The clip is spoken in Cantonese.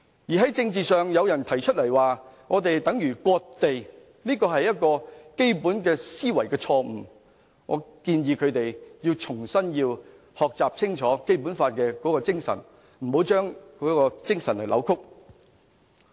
在政治上，有人提出這樣做等於割地，這是基本思維錯誤，我建議他們重新清楚學習《基本法》的精神，不要扭曲。